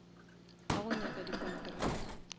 ba go nyaka di kontraka